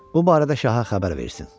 Bu barədə şaha xəbər versin.